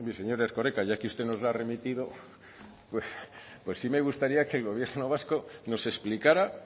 señor erkoreka ya que usted nos la ha remitido sí me gustaría que el gobierno vasco no explicara